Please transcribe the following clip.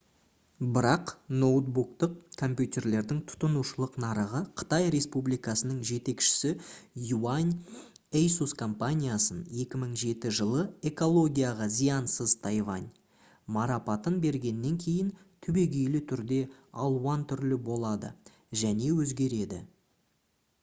бірақ ноутбуктық компьютерлердің тұтынушылық нарығы қытай республикасының жетекшісі юань asus компаниясын 2007 жылы «экологияға зиянсыз тайвань» марапатын бергеннен кейін түбегейлі түрде алуан түрлі болады және өзгереді